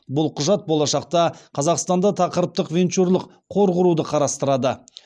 бұл құжат болашақта қазақстанда тақырыптық венчурлық қор құруды қарастырады